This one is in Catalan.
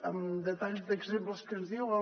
amb detalls d’exemples que ens diuen